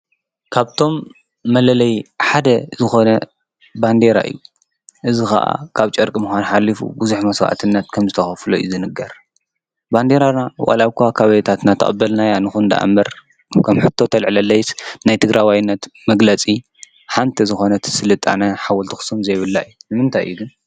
ካብቶም መለለይ ሓደ ዝኾነ ባንዴራ እዩ። እዝ ኸዓ ካብ ጨርቂ ምካን ሓሊፉ ብዙሕ መሥዋዕትናት ከም ዝተኸፍሎ እዩ ዝንገር። ባንዴራና ወልኳ ኻብይታትና ተቐበልናያ ንኹን ደኣ ምር ከም ሕቶ ተልዕለለይስ ናይ ትግራዋይነት መግለጺ ሓንቲ ዝኾነት ስልጣነ ሓወልት ኣኽሶም ዘይብላ እዩ። ይ ንምንታይ ግን?